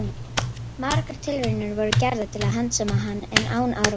Margar tilraunir voru gerðar til að handsama hann, en án árangurs.